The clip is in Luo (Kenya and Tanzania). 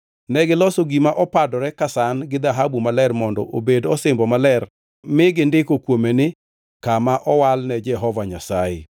Negiloso gima opadore ka san gi dhahabu maler mondo obed osimbo maler mi gindiko kuome ni: Kama owal ne Jehova Nyasaye.